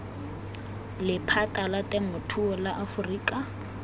lephata la temothuo la aforika